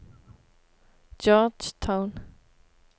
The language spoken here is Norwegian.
Georgetown